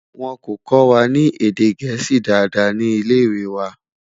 wón kò kọwa ní èdè gẹ̀ẹ́sì Dàda ní ilẹ ìwé wà